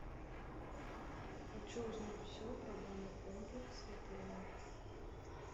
хочу узнать все про банный комплекс в отеле